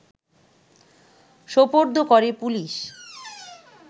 সোপর্দ করে পুলিশ